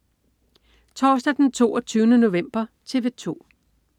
Torsdag den 22. november - TV 2: